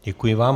Děkuji vám.